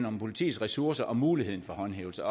om politiets ressourcer og muligheden for håndhævelse